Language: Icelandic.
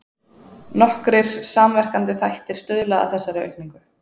Nokkrir samverkandi þættir stuðla að þessari aukningu.